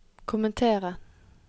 kommentere